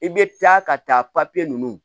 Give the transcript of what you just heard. I bɛ taa ka taa papiye ninnu